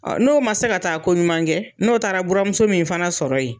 N'o ma se ka taa ko ɲuman kɛ, n'o taara buramuso min fana sɔrɔ yen